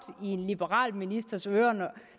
i en liberal ministers ører